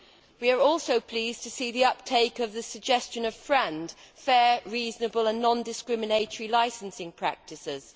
We are also pleased to see the uptake of the suggestion of FRAND fair, reasonable and non discriminatory licensing practices.